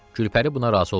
Gülpəri buna razı olmadı.